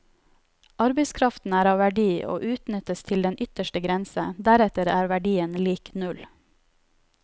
Arbeidskraften er av verdi, og utnyttes til den ytterste grense, deretter er verdien lik null.